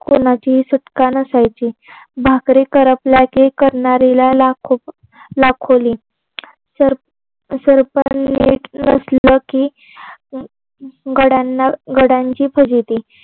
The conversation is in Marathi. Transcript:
कोणाचीही सुटका नसायची. भाकरी करपल्या की करणारीला लाखोली सरपण नीट नसलं की घडयाना घडांची फजिती